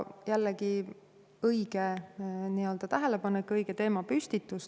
Jällegi, väga õige tähelepanek, õige teemapüstitus.